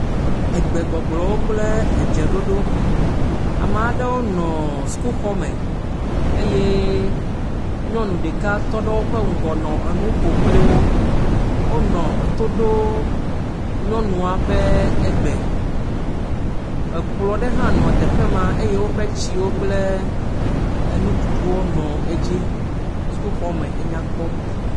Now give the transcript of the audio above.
Gbegbɔgblɔwo kple edzeɖoɖowo, ame aɖe nɔ sukuxɔ aɖe me eye nyɔnu ɖeka tɔ ɖe woƒe ŋgɔ nɔ nu ƒo kple wo wonɔ eto ɖo nyɔnua ƒe gbe, ekplɔ ɖe hã nɔ teƒe ma eye tsiwo kple enuɖuɖuwo nɔ edzi, sukuxɔme nya kpɔ.